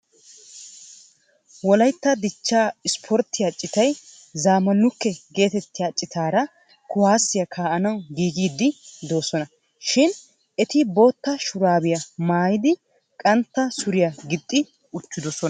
wolaytta dichaa ispporttiya citay zaamaalukke geetettiya citara kuwaaasiya kaa'anawu giigiddi doososna. shib eti bootaa shuraabiya maayidi qantta suriya gixxi uttidosona.